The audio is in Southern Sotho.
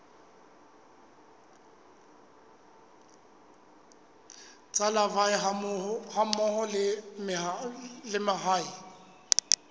tsa larvae hammoho le mahe